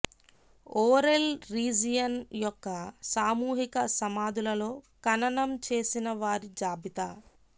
ఓరెల్ region యొక్క సామూహిక సమాధులలో ఖననం చేసిన వారి జాబితా